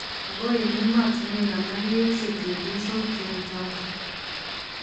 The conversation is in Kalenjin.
Ako eng' ematinwek alak keuse chepyosok cheu chotok